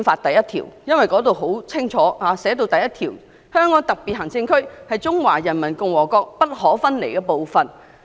《基本法》第一條清楚訂明："香港特別行政區是中華人民共和國不可分離的部分。